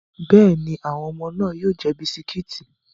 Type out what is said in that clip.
Bẹ́ẹ̀ni, àwọn ọmọ náà yóò jẹ bisikíìtì.